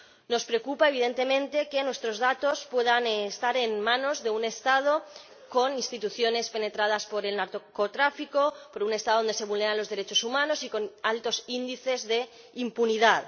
Nos preocupa, evidentemente, que nuestros datos puedan estar en manos de un Estado con instituciones penetradas por el narcotráfico, de un Estado donde se vulneran los derechos humanos y con altos índices de impunidad.